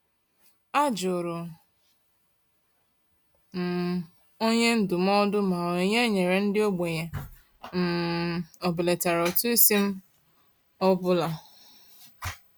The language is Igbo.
A jụrụ m onye ndụmọdụ ma onyinye e nyere ndị ogbenye um ọbelatara ụtụisi m ọ bụla.